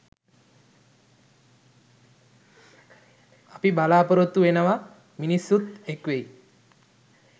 අපි බලාපොරොත්තු වෙනව.මිනිස්සුත් එක් වෙයි.